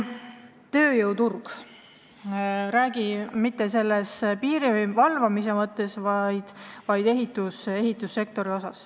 Tööjõuturust ei räägi ma nüüd mitte piiri valvamise mõttes, vaid ma räägin ehitussektorist.